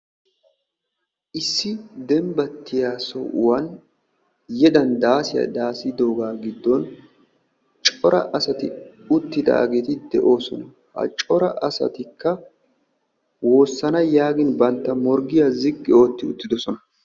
Issi dembbatiya sohuwan yedan dassiya daasidooga giddon coraa asati de"oosona. Ha cora asatikka woossana yaagin bantta morggiya ziqqi ootti uttidoosona.